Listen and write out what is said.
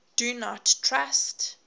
do not trust